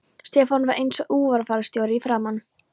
Stefán var einsog útfararstjóri í framan.